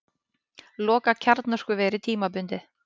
Loka kjarnorkuveri tímabundið